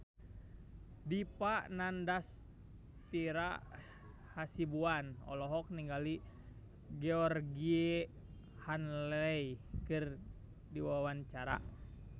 Dipa Nandastyra Hasibuan olohok ningali Georgie Henley keur diwawancara